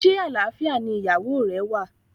Se alfia ni iyawo re wa?